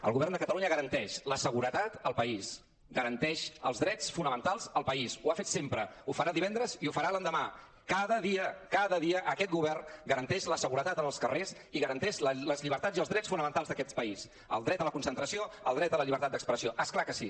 el govern de catalunya garanteix la seguretat al país garanteix els drets fonamentals al país ho ha fet sempre ho farà divendres i ho farà l’endemà cada dia cada dia aquest govern garanteix la seguretat en els carrers i garanteix les llibertats i els drets fonamentals d’aquest país el dret a la concentració el dret a la llibertat d’expressió és clar que sí